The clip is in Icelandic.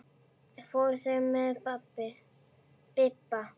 Fóru þeir með Bibba?